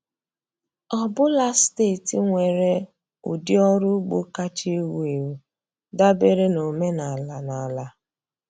Ọ bụla steeti nwere ụdị ọrụ ugbo kacha ewu ewu dabere na omenala na ala.